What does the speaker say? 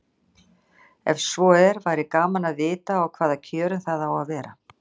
Ef svo er væri gaman að vita á hvaða kjörum það á að vera.